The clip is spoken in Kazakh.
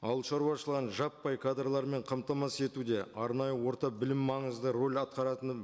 ауылшаруашылығын жаппай кадрлармен қамтамасыз етуде арнайы орта білім маңызды рөл атқаратынын